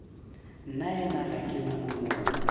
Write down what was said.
nnaena ga ke na molomo